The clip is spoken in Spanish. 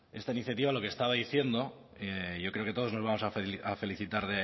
esta iniciativa lo que estaba diciendo yo creo que todos nos vamos a felicitar